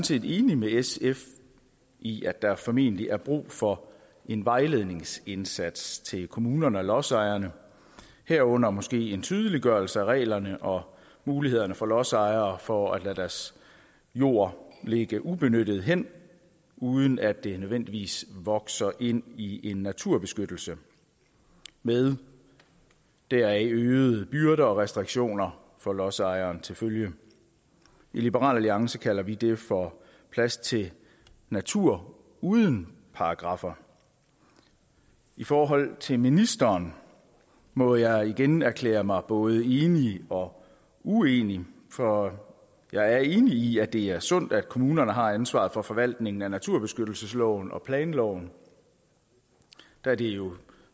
set enig med sf i at der formentlig er brug for en vejledningsindsats til kommunerne og lodsejerne herunder måske en tydeliggørelse af reglerne og mulighederne for lodsejere for at lade deres jord ligge ubenyttet hen uden at det nødvendigvis vokser ind i en naturbeskyttelse med deraf øgede byrder og restriktioner for lodsejeren til følge i liberal alliance kalder vi det for plads til natur uden paragraffer i forhold til ministeren må jeg igen erklære mig både enig og uenig for jeg er enig i at det er sundt at kommunerne har ansvaret for forvaltningen af naturbeskyttelsesloven og planloven da det jo